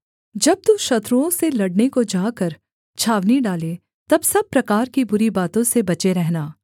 जब तू शत्रुओं से लड़ने को जाकर छावनी डाले तब सब प्रकार की बुरी बातों से बचे रहना